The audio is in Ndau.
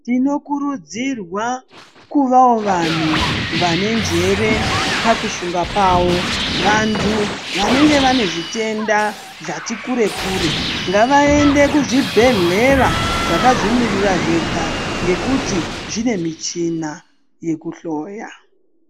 Tinokurudzirwawo kuvawo vantu vane njere pakufunga kwavo . Vantu vanenge vane zvitenda zvati kure kure ngavaende kuzvibhedhleya zvakazvimiririra zvega ngekuti zvine michina yekuhloya .